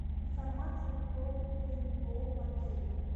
информация про пейнтбол в отеле